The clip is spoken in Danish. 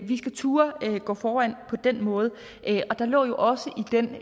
vi skal turde gå foran på den måde og der lå jo også